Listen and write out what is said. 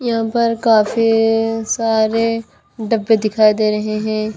यहाँ पर काफी सारे डब्बे दिखाई दे रहे हैं।